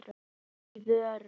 Í alvöru!?